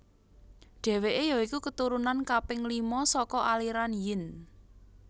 Dheweke ya iku keturunan kaping lima saka aliran Yin